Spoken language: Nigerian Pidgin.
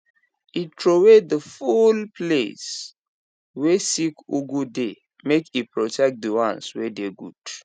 he throwaway the full place way sick ugu dey make e protect the ones wey dey good